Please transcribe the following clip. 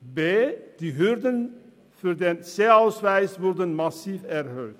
Zudem wurden die Hürden für den C-Ausweis massiv erhöht.